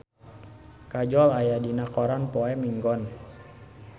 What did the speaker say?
Kajol aya dina koran poe Minggon